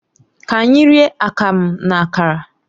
Ka anyị rie Akamu na Akara